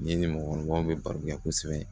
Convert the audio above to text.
N'i ni mɔgɔkɔrɔbaw bɛ baro kɛ kosɛbɛ